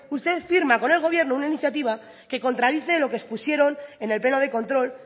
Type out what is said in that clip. usted firma con el gobierno una iniciativa que contradice lo que expusieron en el pleno de control